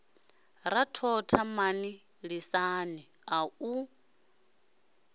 ra thotha mani lisani au